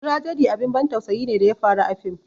"Tragedy" abin ban tausayi ne da ya faru a fim